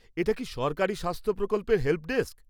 এটা কি সরকারি স্বাস্থ প্রকল্পের হেল্পডেস্ক?